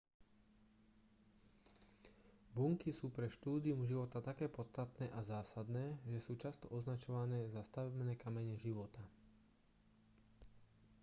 bunky sú pre štúdium života také podstatné a zásadné že sú často označované za stavebné kamene života